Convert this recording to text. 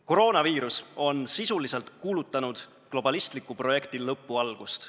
Koroonaviirus on sisuliselt kuulutanud globalistliku projekti lõpu algust.